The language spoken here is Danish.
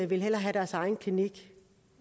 vil hellere have deres egen klinik